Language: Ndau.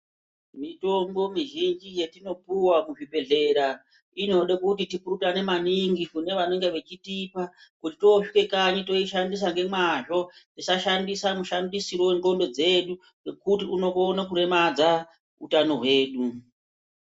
Mitombo mizhinji yetinopuwa ku zvibhedhlera inode kuti tipurutane maningi kune vanenge vechitipa kuti tosvike kanyi toishandisa ngemazvo tisa shandisa mu shandisiro we ndxondo dzedu ngekuti uno kone kuremadza utano hwedu.